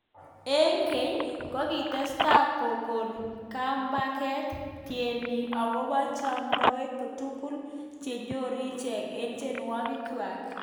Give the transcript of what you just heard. eng keny kokitostai kokon kambaket tienik akobo chepkondok tutikin chenyoru icheket eng tienwokik kwaak.